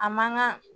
A man kan